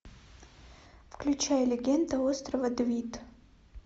включай легенда острова двид